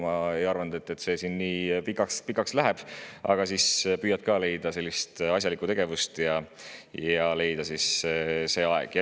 Ma ei arvanud, et see siin nii pikaks läheb, aga siis püüdsin ka leida asjalikku tegevust sellel ajal.